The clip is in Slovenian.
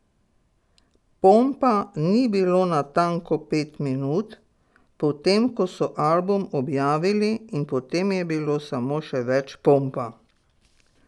Pompa ni bilo natanko pet minut, potem ko so album objavili, in potem je bilo samo še več pompa.